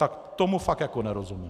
Tak tomu fakt jako nerozumím.